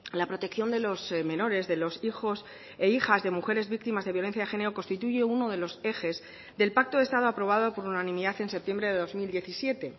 la protección de los menores de los hijos e hijas de mujeres víctimas de violencia de género constituye uno de los ejes del pacto de estado aprobado por unanimidad en septiembre de dos mil diecisiete